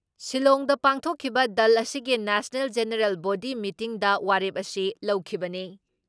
ꯁꯤꯜꯂꯣꯡꯗ ꯄꯥꯡꯊꯣꯛꯈꯤꯕ ꯗꯜ ꯑꯁꯤꯒꯤ ꯅꯦꯁꯅꯦꯜ ꯖꯦꯅꯔꯦꯜ ꯕꯣꯗꯤ ꯃꯤꯇꯤꯡꯗ ꯋꯥꯔꯦꯞ ꯑꯁꯤ ꯂꯧꯈꯤꯕꯅꯤ ꯫